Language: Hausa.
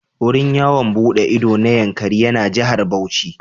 Wurin yawon buɗe ido na Yankari yana Jihar Bauchi.